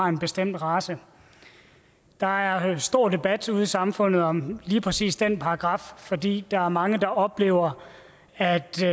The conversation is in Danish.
en bestemt race der er stor debat ude i samfundet om lige præcis den paragraf fordi der er mange der oplever at de